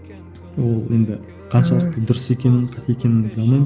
ол енді қаншалықты дұрыс екенін қате екенін біле алмаймын